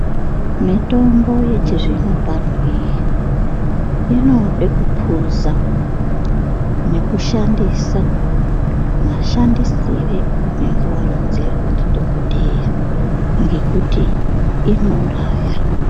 Mitombo yechizvino pano iyi inode kupuza nekushandisa mashandisirwo aunenge varonzerwa ndidhogodheya ngekuti inouraya.